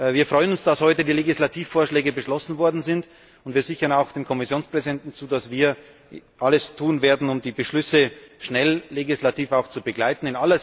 Wir freuen uns, dass heute die Legislativvorschläge beschlossen worden sind, und wir sichern auch dem Kommissionspräsidenten zu, dass wir alles tun werden, um die Beschlüsse schnell auch legislativ zu begleiten.